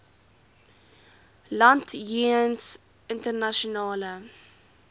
land jeens internasionale